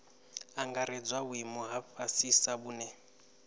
angaredzwa vhuimo ha fhasisa vhune